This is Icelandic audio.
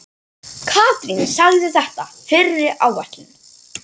Katrín sagði þetta fyrri áætlun.